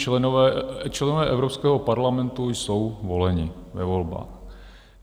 Členové Evropského parlamentu jsou voleni ve volbách.